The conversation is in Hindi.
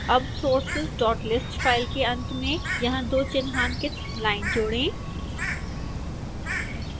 अब sourceslist फाइल के अंत में यहां दो चिन्हांकित लाइन जोड़ें